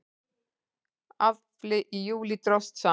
Afli í júlí dróst saman